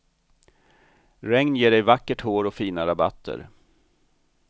Regn ger dig vackert hår och fina rabatter.